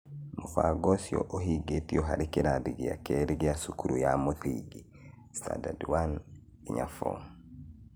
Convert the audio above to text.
Mũbango ũcio ũhingĩtio harĩ kĩrathi gĩa kerĩ gĩa cukuru ya mũthingi (Standards 1- 4).